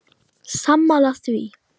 Sammála því?